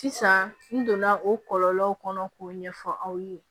Sisan n donna o kɔlɔlɔw kɔnɔ k'o ɲɛfɔ aw ye